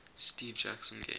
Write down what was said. steve jackson games